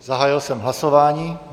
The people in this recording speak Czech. Zahájil jsem hlasování.